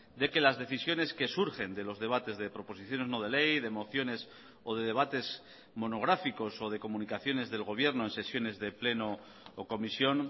de que las decisiones que surgen de los debates de proposiciones no de ley de mociones o de debates monográficos o de comunicaciones del gobierno en sesiones de pleno o comisión